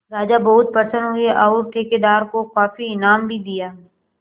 राजा बहुत प्रसन्न हुए और ठेकेदार को काफी इनाम भी दिया